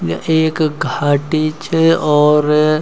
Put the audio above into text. या ऐक घाटी च और --